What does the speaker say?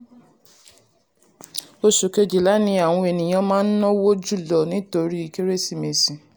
oṣù kejìlá ni àwọn ènìyàn máa ń náwó jùlọ nítorí kérésìmesì.